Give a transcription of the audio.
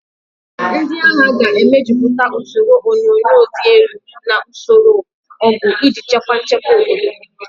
Ndị agha ga-emejuputa usoro onyunyo dị elu na usoro ọgụ iji chekwaa nchekwa obodo.